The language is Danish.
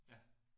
Ja